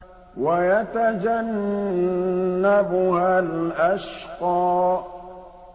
وَيَتَجَنَّبُهَا الْأَشْقَى